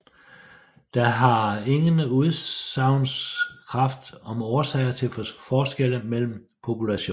Den har ingen udsagnskraft om årsager til forskelle mellem populationer